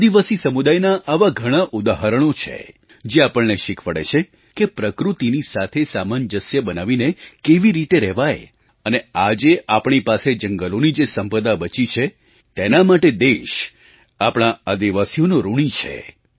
આદિવાસી સમુદાયના આવાં ઘણાં ઉદાહરણો છે જે આપણને શીખવાડે છે કે પ્રકૃતિની સાથે સામંજસ્ય બનાવીને કેવી રીતે રહેવાય અને આજે આપણી પાસે જંગલોની જે સંપદા બચી છે તેના માટે દેશ આપણા આદિવાસીઓનો ઋણી છે